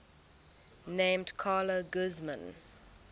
named carla guzman